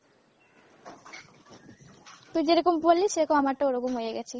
তুই যেরকম বললি সেরকম আমারটাও ওরকম হয়ে গেছে।